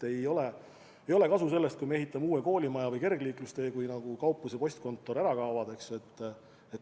Ei ole kasu sellest, kui me ehitame uue koolimaja või kergliiklustee, kui kauplus ja postkontor ära kaovad.